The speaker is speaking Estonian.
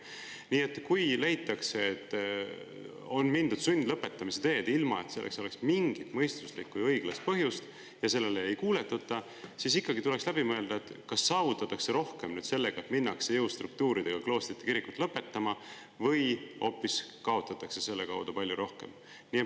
Nii et kui leitakse, et tuleb minna sundlõpetamise teed, ilma et selleks oleks mingit mõistuslikku ja õiglast põhjust, ja kui sellele ei kuuletuta, siis ikkagi tuleks läbi mõelda, kas sellega, et minnakse jõustruktuuridega kloostri ja kiriku lõpetama, saavutatakse rohkem või hoopis kaotatakse nii palju rohkem.